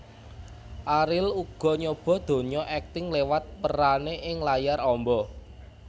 Ariel uga nyoba donya akting lewat peranné ing layar amba